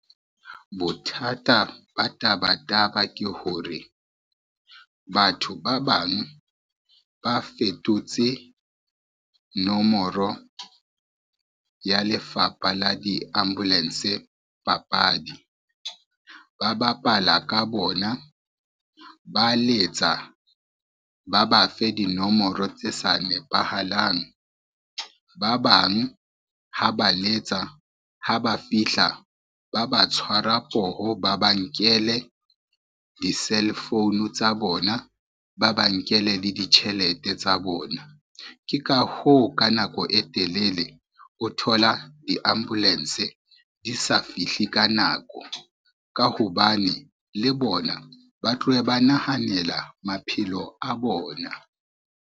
Bothata ba taba taba ke hore, batho ba bang ba fetotse nomoro ya lefapha la di-ambulance papadi. Ba bapala ka bona, ba letsa ba ba fe dinomoro tse sa nepahalang, ba bang ha ba letsa ha ba fihla, ba ba tshwarwa poho ba ba nkele di-cell phone tsa bona, ba ba nkele le ditjhelete tsa bona. Ke ka hoo ka nako e telele o thola di-ambulance di sa fihle ka nako ka hobane le bona ba tloha ba nahanela maphelo a bona.